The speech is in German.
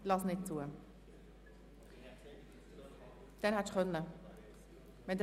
Ich lasse ihr Votum nicht zu, denn wir hatten bereits so viele Voten.